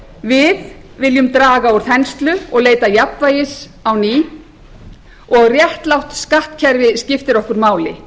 við viljum draga úr þenslu og leita jafnvægis á ný og réttlátt skattkerfi skiptir okkur máli